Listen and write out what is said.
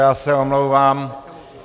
Já se omlouvám.